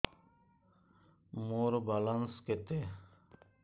ମୋର ବାଲାନ୍ସ କେତେ